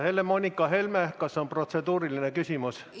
Helle-Moonika Helme, kas on protseduuriline küsimus?